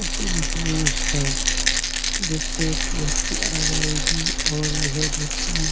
उतरी हुई है जिससे इसकी हड्डी आ जाएगी और यह व्यक्ति --